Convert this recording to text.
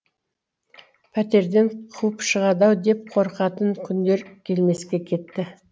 пәтерден қуып шығады ау деп қорқатын күндер келмеске кетті